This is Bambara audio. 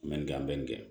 N bɛ nin kɛ n bɛ nin kɛ